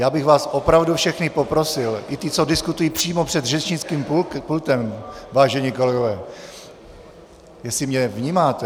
Já bych vás opravdu všechny poprosil, i ty, co diskutují přímo před řečnickým pultem, vážení kolegové, jestli mě vnímáte!